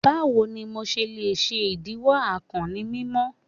Bawo ni MO ṣe le ṣe idiwọ akàn ni mimọ?